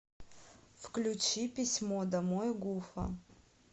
включи письмо домой гуфа